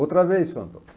Outra vez, seu Antônio.